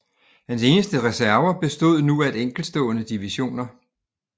Hans eneste reserver bestod nu af enkeltstående divisioner